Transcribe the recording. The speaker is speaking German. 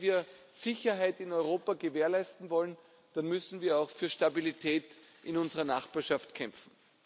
Denn wenn wir Sicherheit in Europa gewährleisten wollen, dann müssen wir auch für Stabilität in unserer Nachbarschaft kämpfen.